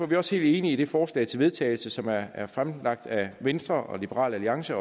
vi også helt enige i det forslag til vedtagelse som er er fremsat af venstre liberal alliance